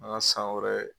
An ka san wɛrɛ